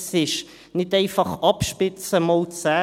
Es ist nicht einfach Abspitzen mal zehn.